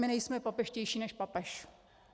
My nejsme papežštější než papež.